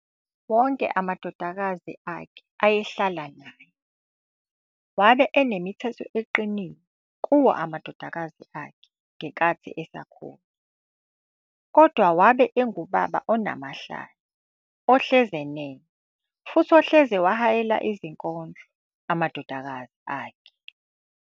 Wonke amadodakazi akhe ayehlala na naye, wabe enemithetho eqinile kiwo amadodakazi akhe negankathi esakhula. Kodwa wabe ungubaba onamahlaya, ehlezi eneme futhi ehlezi ewahayela izinkondlo amadodakazi akhe.